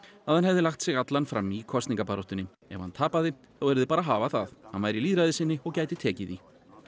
að hann hefði lagt sig allan fram í kosningabaráttunni ef hann tapaði þá yrði bara að hafa það hann væri lýðræðissinni og gæti tekið því